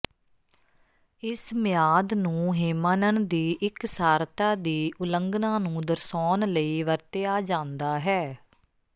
ਇਸ ਮਿਆਦ ਨੂੰ ਹੇਮਾਨਨ ਦੀ ਇਕਸਾਰਤਾ ਦੀ ਉਲੰਘਣਾ ਨੂੰ ਦਰਸਾਉਣ ਲਈ ਵਰਤਿਆ ਜਾਂਦਾ ਹੈ